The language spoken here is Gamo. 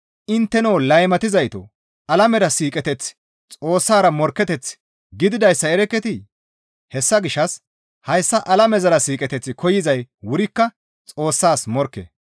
Intteno laymatizaytoo! Alamera siiqeteththi Xoossara morkketeth gididayssa erekketii? Hessa gishshas hayssa alamezara siiqeteth koyzay wurikka Xoossas morkke.